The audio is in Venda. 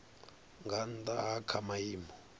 nga nnda ha kha maimo